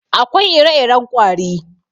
Akwai ire-iren ƙwari.